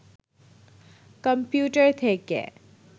computer থেকে